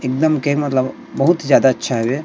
एकदम के मतलब बहुत ज्यादा अच्छा हरे--